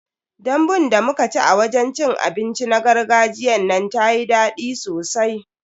Dambun da muka ci a wajen cin abinci na gargajiyan nan tayi dadi sosai.